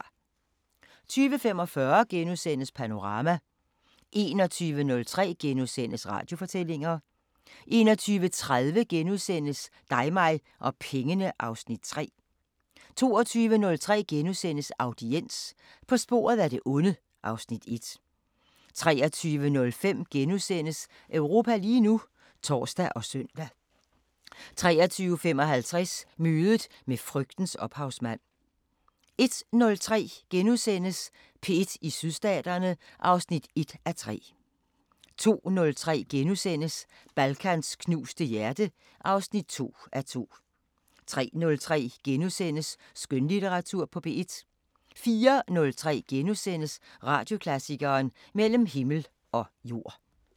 20:45: Panorama * 21:03: Radiofortællinger * 21:30: Dig mig og pengene (Afs. 3)* 22:03: Audiens – På sporet af det onde (Afs. 1)* 23:05: Europa lige nu *(tor og søn) 23:55: Mødet med frygtens ophavsmand 01:03: P1 i Sydstaterne (1:3)* 02:03: Balkans knuste hjerte (2:2)* 03:03: Skønlitteratur på P1 * 04:03: Radioklassikeren: Mellem Himmel og Jord *